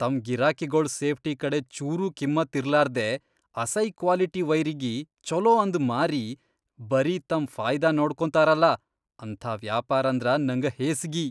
ತಮ್ ಗಿರಾಕಿಗೊಳ್ ಸೇಫ್ಟಿ ಕಡೆ ಚೂರೂ ಕಿಮ್ಮತ್ತ್ ಇರ್ಲಾರ್ದೇ ಅಸೈ ಕ್ವಾಲಿಟಿ ವೈರಿಗಿ ಛೊಲೋ ಅಂದ್ ಮಾರಿ ಬರೀ ತಮ್ ಫಾಯಿದಾ ನೋಡ್ಕೊತಾರಲಾ ಅಂಥಾ ವ್ಯಾಪಾರಂದ್ರ ನಂಗ ಹೇಸ್ಗಿ.